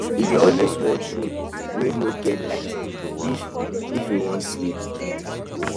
he dey always want room wey no get light if if he wan sleep